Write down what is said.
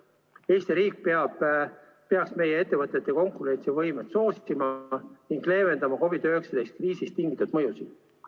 Eesti riik peaks meie ettevõtete konkurentsivõimet soosima ning leevendama COVID-19 kriisist tingitud mõjusid.